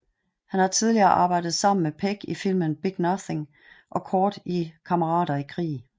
Han har tidligere arbejdet sammen med Pegg i filmen Big Nothing og kort i Kammerater i krig